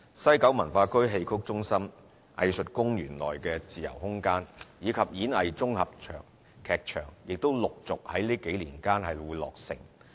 西九文化區戲曲中心、藝術公園內的自由空間，以及演藝綜合劇場亦陸續於這幾年間落成。